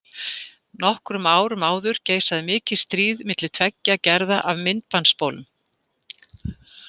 Nokkrum árum áður geisaði mikið stríð milli tveggja gerða af myndbandsspólum.